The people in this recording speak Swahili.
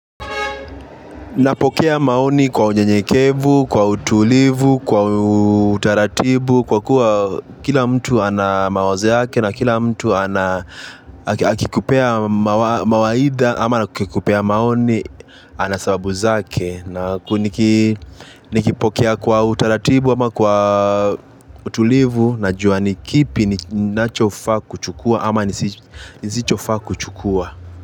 Napokea maoni kwa unyenyekevu, kwa utulivu, kwa utaratibu, kwa kuwa kila mtu anamawazo yake na kila mtu ana akikupea mawaidha ama akikupea maoni ana sababu zake na nikipokea kwa utaratibu ama kwa utulivu na jua ni kipi ninachofaa kuchukua ama nisichofaa kuchukua.